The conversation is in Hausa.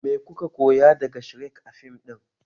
Me kuka koya daga shrek a fim ɗin?